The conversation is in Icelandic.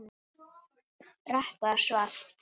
Rökkvað og svalt.